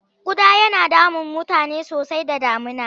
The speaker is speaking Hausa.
Ƙuda yana damun mutane sosai da damuna.